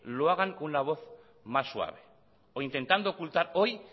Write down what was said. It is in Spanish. lo hagan con una voz más suave o intentando ocultar hoy